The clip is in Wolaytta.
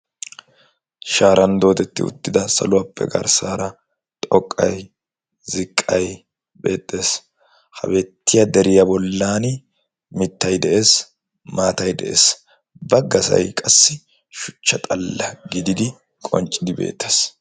shaaran doodetti uttida saluwaappe garssaara xoqqay, ziqqay beettes. ha beettiya deriyaa bollan mittay de'ees maatay de'es. baggasay qassi shuchcha xalla gididi qonccidi beettes.